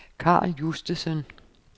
Karl Justesen